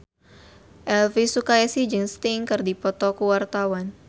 Elvi Sukaesih jeung Sting keur dipoto ku wartawan